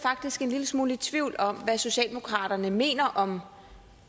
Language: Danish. faktisk en lille smule i tvivl om hvad socialdemokratiet mener om